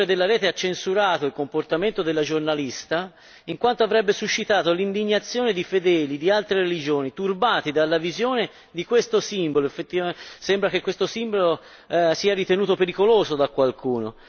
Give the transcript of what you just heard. Il direttore della rete ha censurato il comportamento della giornalista, in quanto avrebbe suscitato l'indignazione di fedeli di altre religioni, turbati dalla visione di questo simbolo che sembra essere ritenuto pericoloso da qualcuno.